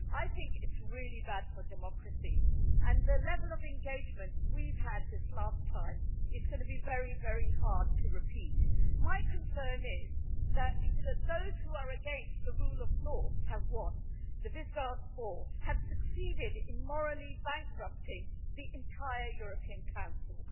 I think it's really bad for democracy and the level of engagement we've had this last time it's going to be very, very hard to repeat. My concern is that, you know, those who are against the rule of law have won. The Visegrád 4 have succeeded in morally bankrupting the entire European Council.